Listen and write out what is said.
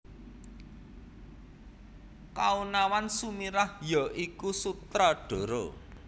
Kaonawan Sumirah ya iku Sutradara